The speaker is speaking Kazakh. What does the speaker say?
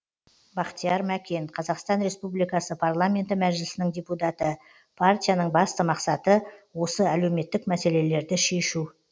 бақтияр мәкен қазақстан республикасы парламенті мәжілісінің депутаты партияның басты мақсаты осы әлеуметтік мәселелерді шешу